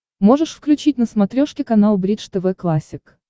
можешь включить на смотрешке канал бридж тв классик